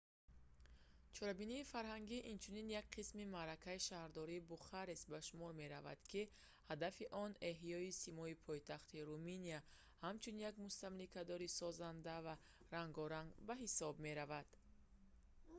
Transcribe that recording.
чорабинии фарҳангӣ инчунин як қисми маъракаи шаҳрдории бухарест ба шумор меравад ки ҳадафи он эҳёи симои пойтахти руминия ҳамчун як мустамликадори созанда ва рангоранг ба ҳисоб меравад